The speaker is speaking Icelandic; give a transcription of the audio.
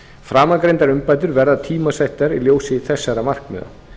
framangreindar umbætur verða tímasettar í ljósi þessara markmiða